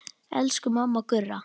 Elsku mamma Gurra.